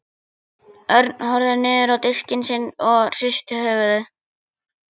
Örn horfði niður á diskinn sinn og hristi höfuðið.